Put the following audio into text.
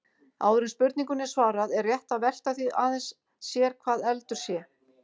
Áður en spurningunni er svarað er rétt að velta því aðeins sér hvað eldur sé.